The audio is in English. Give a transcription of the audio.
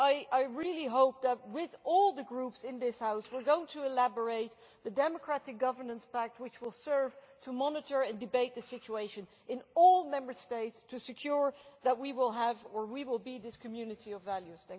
I really hope that with all the Groups in this House we are going to elaborate the Democratic Governance Pact, which will serve to monitor and debate the situation in all Member States to ensure that we will have, or we will be, this community of values.